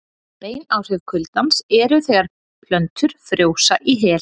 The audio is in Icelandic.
Bein áhrif kuldans eru þegar plöntur frjósa í hel.